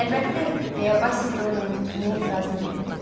Əlbəttə, deyə Basil Dorianın fikrinə etirazını bildirdi.